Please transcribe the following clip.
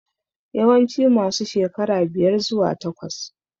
Yawanci masu shekara biyar zuwa takwas